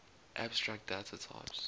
abstract data types